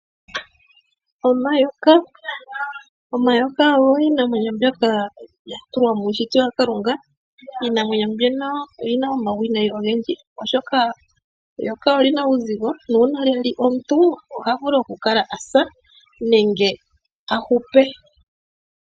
Omayoka . Omayoka ogo iinamwenyo mbyoka yatulwa miishitwa ya kalunga .iinamwenyo mbyono oyi na uuwinayi owundji oshoka eyoka olina uuzigo nuuna lya lya omuntu oha vulu okukala asa nenge ahupe.